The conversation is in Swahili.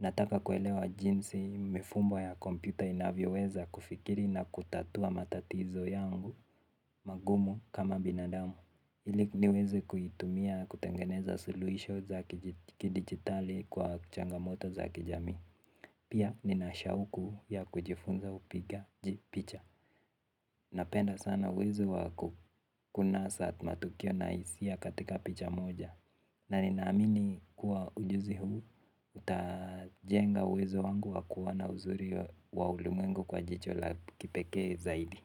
Nataka kuelewa jinsi mifumo ya kompyuta inavyoweza kufikiri na kutatua matatizo yangu. Magumu kama binadamu. Ili niweze kuitumia kutengeneza soluhisho za kidijitali kwa changamoto za kijami. Pia ninashauku ya kujifunza upigaji picha. Napenda sana uwezo wa ku. Kuna saat matukio na isia katika picha moja na ninaamini kuwa ujuzi huu utajenga uwezo wangu wa kuwa na uzuri wa ulumengu kwa jicho la kipeke zaidi.